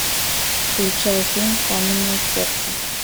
включай фильм каменное сердце